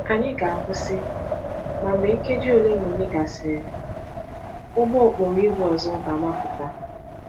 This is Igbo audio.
Anyị ga-akwụsị, ma mgbe nkeji ole na ole gasịrị, ụgbọ okporo ígwè ọzọ ga-agbapụta.